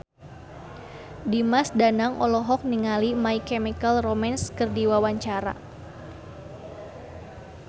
Dimas Danang olohok ningali My Chemical Romance keur diwawancara